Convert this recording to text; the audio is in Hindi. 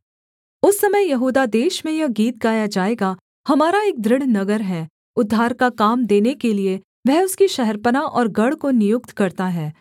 उस समय यहूदा देश में यह गीत गाया जाएगा हमारा एक दृढ़ नगर है उद्धार का काम देने के लिये वह उसकी शहरपनाह और गढ़ को नियुक्त करता है